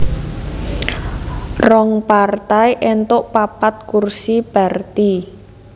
Rong partai éntuk papat kursi Perti